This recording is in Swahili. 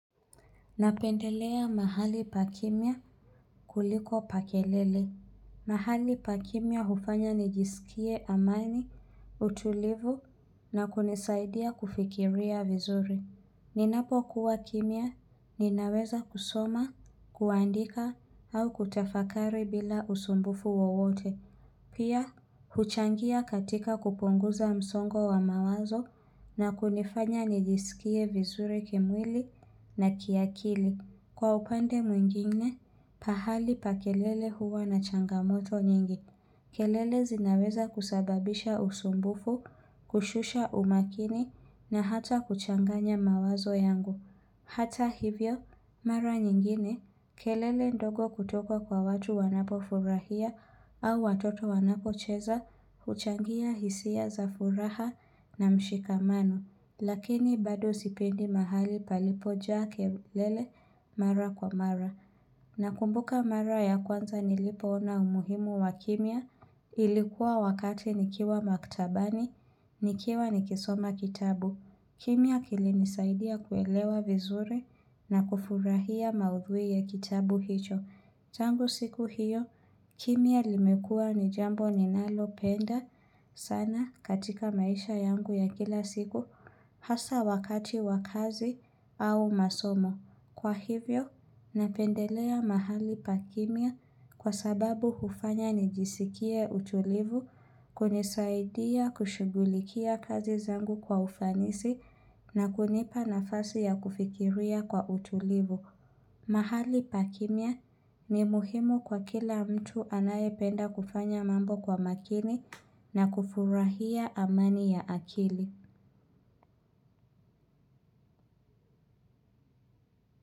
Napendelea mahali pakimya kuliko pakelele. Mahali pakimya hufanya nijisikie amani, utulivu na kunisaidia kufikiria vizuri. Ninapokuwa kimya, ninaweza kusoma, kuandika au kutafakari bila usumbufu wawote. Pia, huchangia katika kupunguza msongo wa mawazo na kunifanya nijisikie vizuri kimwili na kiakili. Kwa upande mwingine, pahali pa kelele huwa na changamoto nyingi. Kelele zinaweza kusababisha usumbufu, kushusha umakini na hata kuchanganya mawazo yangu. Hata hivyo, mara nyingine, kelele ndogo kutoko kwa watu wanapo furahia au watoto wanako cheza, huchangia hisia za furaha na mshikamano, lakini bado sipendi mahali palipojaa kelele mara kwa mara. Na kumbuka mara ya kwanza nilipoona umuhimu wa kimya, ilikuwa wakati nikiwa maktabani, nikiwa nikisoma kitabu. Kimya kilinisaidia kuelewa vizuri na kufurahia maudhui ya kitabu hicho. Tangu siku hiyo, kimya limekua ni jambo ninalo penda sana katika maisha yangu ya kila siku hasa wakati wakazi au masomo. Kwa hivyo, napendelea mahali pakimya kwa sababu hufanya nijisikie utulivu, kunisaidia kushugulikia kazi zangu kwa ufanisi na kunipa nafasi ya kufikiria kwa utulivu. Mahali pakimya ni muhimu kwa kila mtu anayependa kufanya mambo kwa makini na kufurahia amani ya akili.